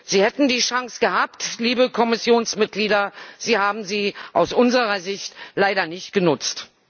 Sie hätten die Chance gehabt, liebe Kommissionsmitglieder, Sie haben sie aus unserer Sicht leider nicht genutzt.